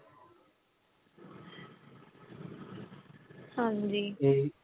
ਹਾਂਜੀ